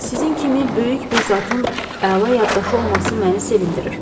Sizin kimi böyük bir zatın əla yaddaşı olması məni sevindirir.